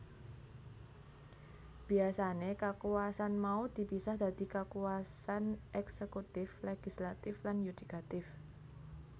Biasané kakuwasan mau dipisah dadi kakuwasan eksekutif legislatif lan yudikatif